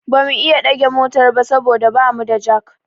Ba mu iya ɗage motar ba saboda ba mu da jak